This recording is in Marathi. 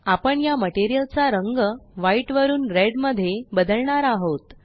आपण या मटेरियल चा रंग व्हाईट वरुन रेड मध्ये बदलणार आहोत